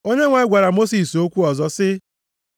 Onyenwe anyị gwara Mosis okwu ọzọ sị,